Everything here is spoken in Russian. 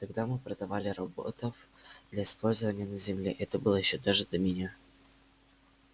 тогда мы продавали роботов для использования на земле это было ещё даже до меня